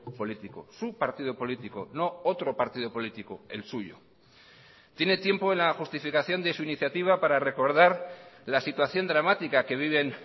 político su partido político no otro partido político el suyo tiene tiempo en la justificación de su iniciativa para recordar la situación dramática que viven